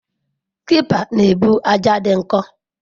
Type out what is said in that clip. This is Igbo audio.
Tipper na-ebu ájá dị nkọ.